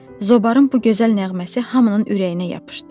Zobarın bu gözəl nəğməsi hamının ürəyinə yapışdı.